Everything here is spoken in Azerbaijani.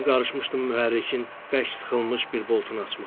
Başım qarışmışdı mühərrikin bərk sıxılmış bir boltunu açmağa.